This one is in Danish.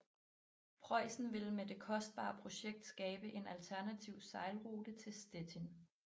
Preussen ville med det kostbare projekt skabe en alternativ sejlrute til Stettin